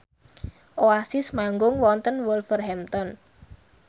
Oasis manggung wonten Wolverhampton